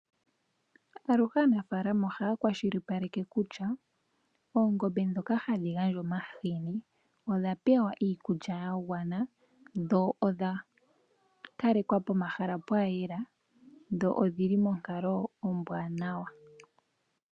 Aluhe aanafalama ohaya kwashilipaleke kutya oongombe dhoka hadhi gandja omahini odha pewa iikulya ya gwana, dho odha kalekwa pomahala ga yela, dho odhili monkalo ombwanawa.